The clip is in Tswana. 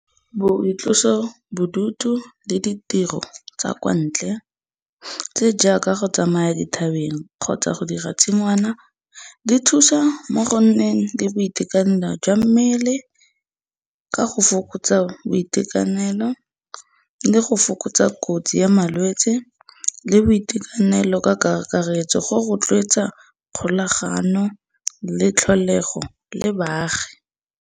Boitlosobodutu le ditiro tsa kwa ntle tse jaaka go tsamaya dithabeng kgotsa go dira tshingwana di thusa mo go nneng le boitekanelo jwa mmele ka go fokotsa boitekanelo le go fokotsa kotsi ya malwetsi le boitekanelo ka kakaretso go rotloetsa kgolagano le tlholego le baagi.